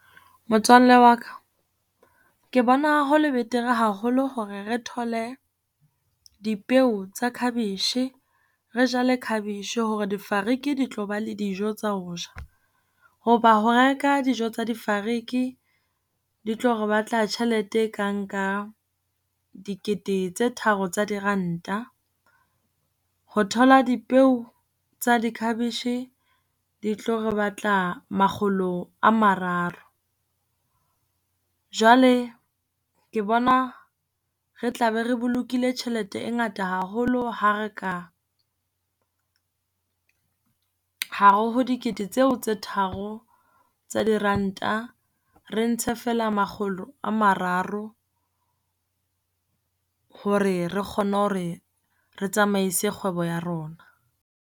Motswalle wa ka, ke bona haholo betere haholo hore re thole dipeo tsa cabbage. Re jale cabbage hore difariki di tloba le dijo tsa ho ja. Ho ba ho reka dijo tsa difariki, di tlo re batla tjhelete e kang ka dikete tse tharo tsa diranta, ho thola dipeo di-cabbage di tlo re batla makgolo a mararo. Jwale ke bona re tla be re bolokile tjhelete e ngata haholo ha re ka, hare ho dikete tseo tse tharo tsa diranta re ntshe fela makgolo a mararo hore re kgone hore re tsamaise kgwebo ya rona.